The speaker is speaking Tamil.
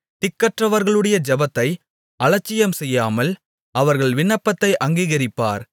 திக்கற்றவர்களுடைய ஜெபத்தை அலட்சியம்செய்யாமல் அவர்கள் விண்ணப்பத்தை அங்கீகரிப்பார்